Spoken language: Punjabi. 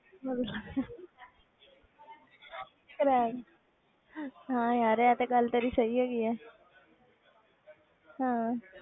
ਹਾਂ ਯਾਰ ਇਹ ਤੇ ਗੱਲ ਤੇਰੀ ਸਹੀ ਹੈਗੀ ਹੈ ਹਾਂ